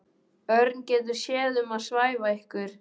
Örn getur séð um að svæfa ykkur.